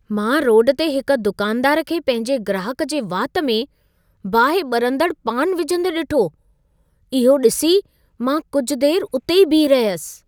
मां रोड ते हिक दुकानदार खे पंहिंजे ग्राहक जे वात में बाहि ॿरंदड़ु पान विझंदे ॾिठो। इहो ॾिसी मां कुझ देरि हुते ई बीह रहयसि।